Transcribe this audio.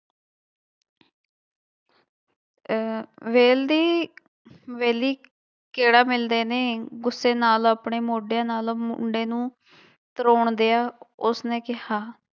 ਅਹ ਵੇਲਦੀ ਵਿਹਲੀ ਕਿਹੜਾ ਮਿਲਦੇ ਨੇ ਗੁੱਸੇ ਨਾਲ ਆਪਣੇ ਮੋਡਿਆਂ ਨਾਲ ਮੁੰਡੇ ਨੂੰ ਧਰੋਣਦਿਆਂ ਉਸਨੇ ਕਿਹਾ।